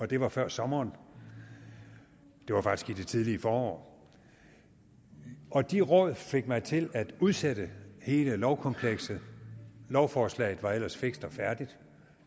det var før sommeren det var faktisk i det tidlige forår og de råd fik mig til at udsætte hele lovkomplekset lovforslaget var ellers fikst og færdigt